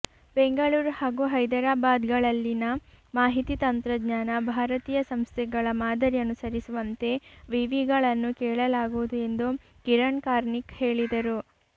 ಬೆಂಗಳೂರು ಹಾಗೂ ಹೈದರಾಬಾದ್ಗಳಲ್ಲಿನ ಮಾಹಿತಿ ತಂತ್ರಜ್ಞಾನ ಭಾರತೀಯ ಸಂಸ್ಥೆಗಳ ಮಾದರಿ ಅನುಸರಿಸುವಂತೆ ವಿವಿಗಳನ್ನು ಕೇಳಲಾಗುವುದು ಎಂದು ಕಿರಣ್ ಕಾರ್ನಿಕ್ ಹೇಳಿದರು